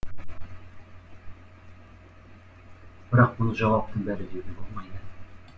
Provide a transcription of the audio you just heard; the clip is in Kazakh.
бірақ мұны жауаптың бәрі деуге болмайды